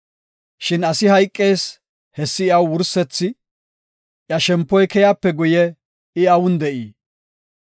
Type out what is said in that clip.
Shin asi hayqees; hessi iyaw wursethi; iya shempoy keyape guye I awun de7ii?